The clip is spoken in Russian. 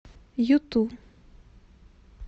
юту